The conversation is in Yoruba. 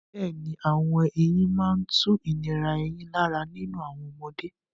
Bẹ́ẹ̀ni, àwọn eyín máa ń tu ìnira eyín lára nínú àwọn ọmọdé.